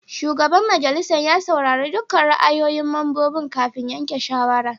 Shugaban majalisar ya saurari dukkan ra'ayoyin mambobin kafin yanke shawara.